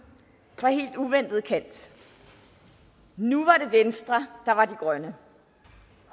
fra helt uventet kant nu var det venstre der var de grønne